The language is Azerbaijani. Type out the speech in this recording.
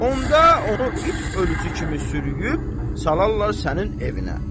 Onda onu it ölüsü kimi sürüyüb salarlar sənin evinə.